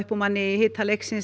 úr manni í hita leiksins